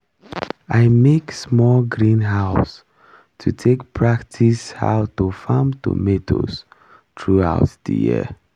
i make small greenhouse to take practice how to farm tomatoes throughout the year